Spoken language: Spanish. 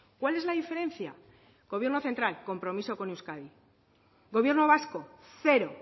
cuál es la diferencia gobierno central compromiso con euskadi gobierno vasco cero